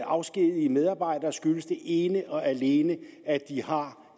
afskedige medarbejdere skyldes det ene og alene at de har